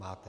Máte.